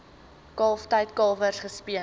kalftyd kalwers gespeen